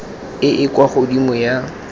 e e kwa godimo ya